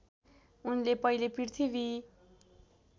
उनले पहिले पृथ्वी